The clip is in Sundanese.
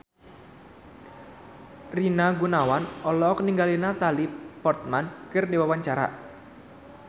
Rina Gunawan olohok ningali Natalie Portman keur diwawancara